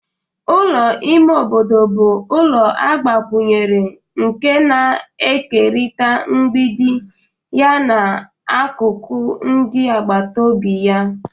Ulọ ime obodo bu ulọ agbakunyere nke na-ekerịta mgbidi ya na akụkụ ndị agbata obi.